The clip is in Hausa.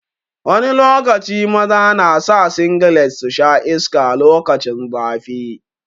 Wani lokaci maza na sa singlet su sha iska lokacin zafi.